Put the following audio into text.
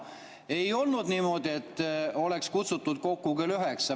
Ei olnud niimoodi, et oleks kutsutud kokku kell üheksa.